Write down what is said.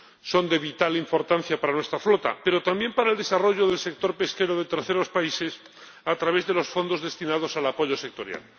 Son de vital importancia para nuestra flota, pero también para el desarrollo del sector pesquero de terceros países, a través de los fondos destinados al apoyo sectorial.